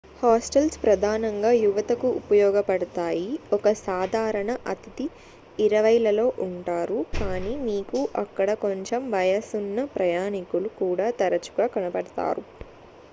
hostels ప్రధానంగా యువతకు ఉపయోగపడతాయి ఒక సాధారణ అతిథి ఇరవైలలో ఉంటారు కాని మీకు అక్కడ కొంచెం వయసున్న ప్రయాణికులు కూడా తరచుగా కనపడతారు